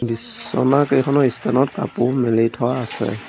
বিছনা কেইখনৰ ষ্টেন ত কাপোৰ মেলি থোৱা আছে।